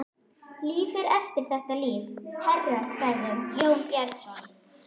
Líf er eftir þetta líf, herra, sagði Jón Bjarnason.